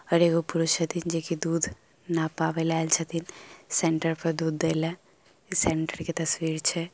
और एगो पुरुष छथिन जे की दूध नपाबे ले ऐल छथिन सेंटर पर दूध दे ले। सेंटर के तस्वीर छै ।